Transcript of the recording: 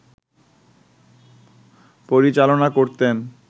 পরিচালনা করতেন